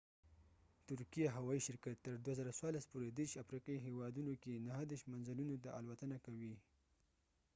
ترکيه هوايي شرکت تر ۲۰۱۴ پورې ۳۰ افریقی هیوادونو کې ۳۹ منزلونو ته الوتنه کوي